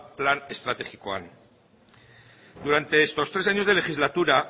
plan estrategikoan durante estos tres años de legislatura